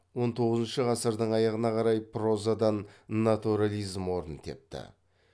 он тоғызыншы ғасырдың аяғына қарай прозадан натурализм орын тепті